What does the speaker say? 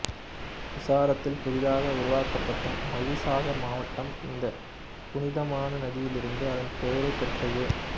குசராத்தில் புதிதாக உருவாக்கப்பட்ட மகிசாகர் மாவட்டம் இந்த புனிதமான நதியிலிருந்து அதன் பெயரைப் பெற்றது